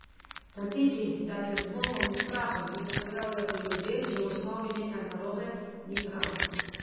Trditi, da je z dvomom in strahom, ki se pojavlja pri ljudeh, že v osnovi nekaj narobe, ni prav.